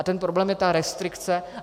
A ten problém je ta restrikce.